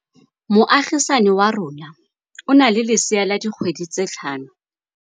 Moagisane wa rona o na le lesea la dikgwedi tse tlhano.